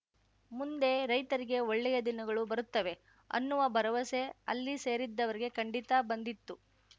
ಮುಂದೆ ರೈತರಿಗೆ ಒಳ್ಳೆಯ ದಿನಗಳು ಬರುತ್ತವೆ ಅನ್ನುವ ಭರವಸೆ ಅಲ್ಲಿ ಸೇರಿದ್ದವರಿಗೆ ಖಂಡಿತ ಬಂದಿತ್ತು